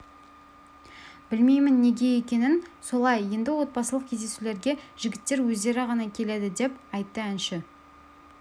білмейімін неге екенін солай енді отбасылық кездесулерге де жігіттер өздері ғана келеді деп айтты әнші